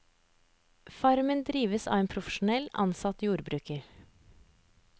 Farmen drives av en profesjonell, ansatt jordbruker.